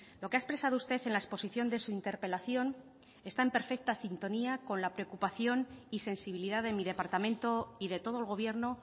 lo que ha expresado usted en la exposición de su interpelación está en perfecta sintonía con la preocupación y sensibilidad de mi departamento y de todo el gobierno